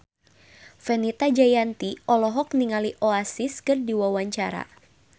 Fenita Jayanti olohok ningali Oasis keur diwawancara